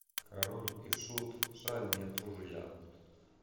король и шут жаль нет ружья